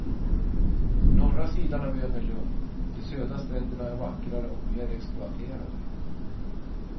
Norra sidan av ön är lugn, de södra stränderna är vackrare och mer exploaterade.